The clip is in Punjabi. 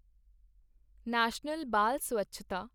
ਨੈਸ਼ਨਲ ਬਾਲ ਸਵੱਛਤਾ